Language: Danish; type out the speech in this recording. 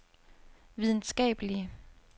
videnskabelige